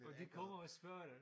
Og de kommer og spørger dig